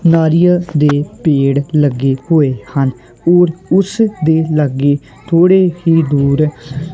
ਨਾਰੀਅਲ ਦੇ ਪੇੜ ਲੱਗੇ ਹੋਏ ਹਨ ਔਰ ਉੱਸ ਦੇ ਲੱਗੇ ਥੋੜੀ ਹੀ ਦੂਰ--